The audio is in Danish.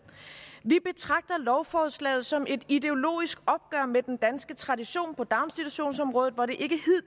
vi betragter lovforslaget som et ideologisk opgør med den danske tradition på daginstitutionsområdet hvor det